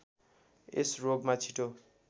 यस रोगमा छिटो